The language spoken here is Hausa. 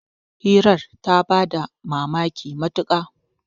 hirar ta ba da mamaki matuka